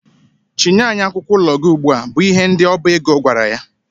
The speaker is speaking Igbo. Chịnye anyị akwụkwọ ụlọ gị ugbua! bụ ihe ndị ọba ego gwara ya.